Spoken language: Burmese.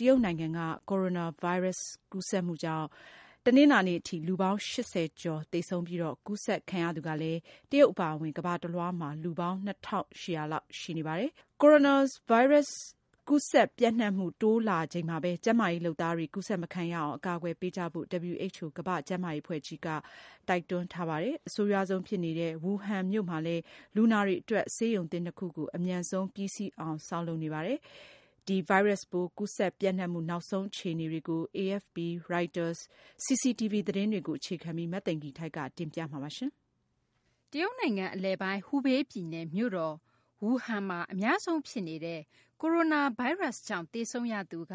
တရုတ်နိုင်ငံမှာ Coronavirus ကူးစက်မှုကြောင့် တနလာၤနေ့အထိ လူပေါင်း ၈၀ ကျော် သေဆုံးပြီး ကူးစက်ခံရသူကလည်း တရုတ် အပါအဝင် ကမ္ဘာတလွှားမှာ လူပေါင်း ၂၈၀၀ လောက် ရှိနေပါတယ်။ Coronavirus ကူးစက် ပျံ့နှံ့မှုတိုးလာချိန်မှာဘဲ ကျန်းမာရေး လုပ်သားတွေ ကူးစက်မခံရအောင် အကာအကွယ်ပေးကြဖို့ WHO ကမ္ဘာ့ကျန်းမာရေး အဖွဲ့ကြီးက တိုက်တွန်းထားပါတယ်။ အဆိုးရွားဆုံး ဖြစ်နေတဲ့ Wuhan မြို့မှာလည်း လူနာတွေ အတွက် ဆေးရုံသစ် ၂ ခုကို အမြန်ဆုံးပြီးအောင် ဆောက်လုပ်နေကြပါတယ်။ Coronavirus ကူးစက်ပျံ့နှံမှု နောက်ဆုံး အခြေအနေတွေကို AFP / Reuters / CCTV သတင်းတွေကို အခြေခံပြီး မသိင်္ဂ ီထိုက် တင်ပြထားပါတယ်။ တရုတ်နိုင်ငံ အလယ်ပိုင်း Hubei ပြည်နယ် မြို့တော် Wuhan မှာ အများဆုံး ဖြစ်နေတဲ့ Coronavirus ကြောင့် သေဆုံးရသူက